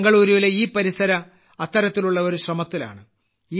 ബെംഗളൂരുവിലെ ഇപരിസര അത്തരത്തിലുള്ള ഒരു ശ്രമത്തിലാണ്